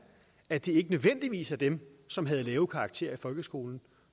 at det ikke nødvendigvis er dem som havde lave karakterer i folkeskolen